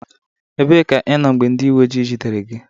Ebee ka ịnọ mgbe ndị uwe ojii jidere gị?